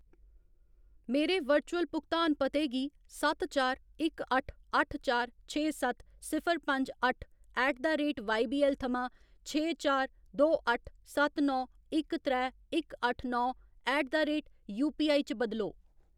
मेरे वर्चुअल भुगतान पते गी सत्त चार इक अट्ठ अट्ठ चार छे सत्त सिफर पंज अट्ठ ऐट द रेट वाईबीऐल्ल थमां छे चार दो अट्ठ सत्त नौ इक त्रै इक अट्ठ नौ ऐट द रेट यूपीआई च बदलो